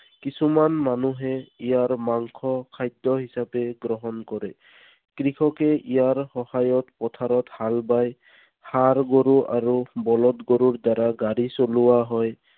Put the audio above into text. কিছুমান মানুহে ইয়াৰ মাংস খাদ্য হিচাপে গ্ৰহণ কৰে। কৃষকে ইয়াৰ সহায়ত পথাৰত হাল বায়। ষাঁড় গৰু আৰু বলধ গৰুৰ দ্বাৰা গাড়ী চলোৱা হয়।